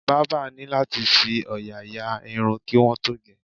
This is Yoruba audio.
Bábà ní láti fi òòyà ya irun kí wọ́n tó ge